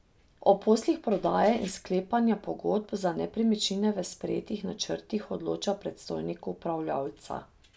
O poslih prodaje in sklepanja pogodb za nepremičnine v sprejetih načrtih odloča predstojnik upravljavca.